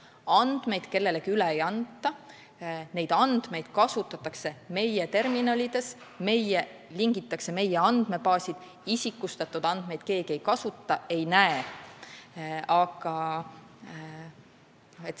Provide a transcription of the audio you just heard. Andmeid kellelegi üle ei anta, neid andmeid kasutatakse meie terminalides, seal lingitakse meie andmebaase, isikustatud andmeid keegi ei kasuta ega näe.